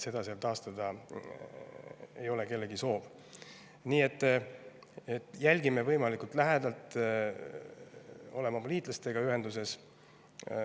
Seda seal taastada ei ole kellegi soov, nii et jälgime võimalikult lähedalt ja oleme oma liitlastega ühenduses.